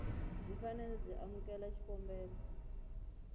byi fanele byi amukela xikombelo